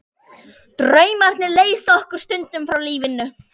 Draumarnir leysa okkur stundum frá lífinu.